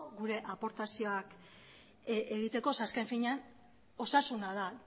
gure aportazioak egiteko ze azken finean osasuna da